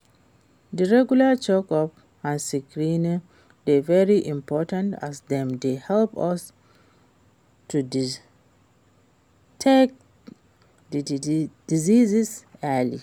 di regular check-ups and screenings dey very important as dem dey help us to detect di diseases early.